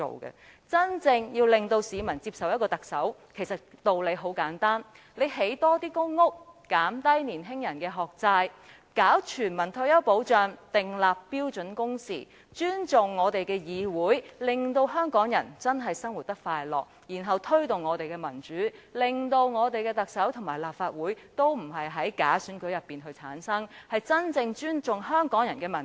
其實，要市民接受一位特首，方法很簡單，只要興建更多公屋、減低年青人的學債、推行全民退休保障、訂立標準工時、尊重議會、使香港人生活得真正快樂，然後再推動民主，令特首和立法會並非藉假選舉產生，真正尊重香港人的民意。